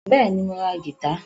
Bẹ́ẹ̀ni, mo ra gìtá